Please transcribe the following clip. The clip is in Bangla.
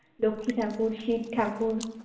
লক্ষ্মী ঠাকুর, শিবঠাকুর